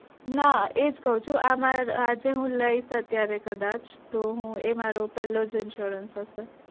નાં એ જ કઉ છુ આ મારો આજે હું લઈસ અત્યારે કદાચ તો હું એ મારો પેલો જ insurance હશે